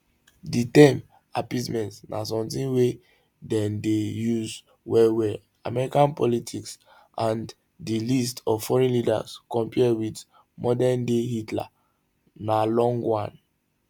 di term appeasement na sometin wey dem dey use wellwell american politics and di list of foreign leaders compare wit modernday hitlers na long one